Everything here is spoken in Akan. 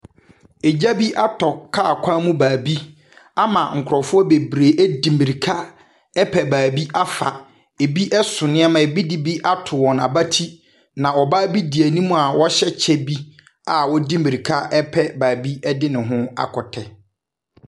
Egya bi atɔ kaa kwan mu baabi ama nkurɔfoɔ bebree di mmirika repɛ baabi afa. Ebi so nneɛma, ebi de bi ato wɔn abati, na ɔbaa bi di anim a wahyɛ kyɛ bi a ɔde mmirika repɛ baabi de ne ho akɔtɛ.